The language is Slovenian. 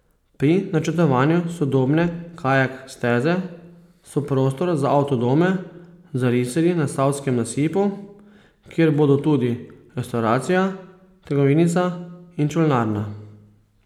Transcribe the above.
Pri načrtovanju sodobne kajak steze so prostor za avtodome zarisali na savskem nasipu, kjer bodo tudi restavracija, trgovinica in čolnarna.